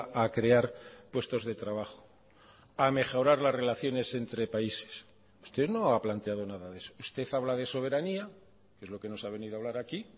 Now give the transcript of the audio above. a crear puestos de trabajo a mejorar las relaciones entre países usted no ha planteado nada de eso usted habla de soberanía que es lo que nos ha venido a hablar aquí